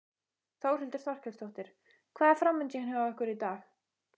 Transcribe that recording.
Þórhildur Þorkelsdóttir: Hvað er framundan hjá ykkur í dag?